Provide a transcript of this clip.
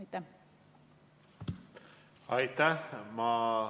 Aitäh!